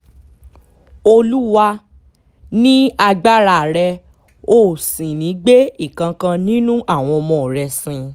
olúwa ni agbára rẹ o ò sì ní gbé ìkankan nínú àwọn ọmọ rẹ sìn